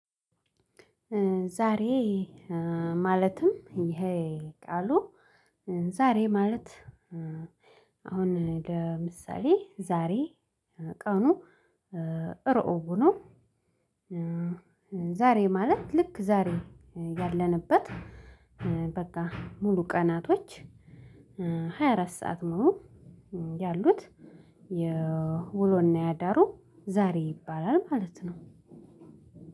ዛሬ ማለትም ይሄ ቃሉ ዛሬ ማለት አሁን ለምሳሌ ዛሬ ቀኑ ሮዕቡ ነው። ዛሬ ማለት ልክ ዛሬ ያለንበት በቃ ሙሉ ቀናቶች ሃያ አራት ሰዓት ሙሉ ያሉት የውሎና ያዳሩ ዛሬ ይባላል ማለት ነው።